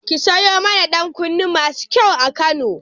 Ki sayo mana ɗankunne masu kyau a Kano.